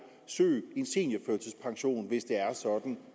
søge en seniorførtidspension hvis det er sådan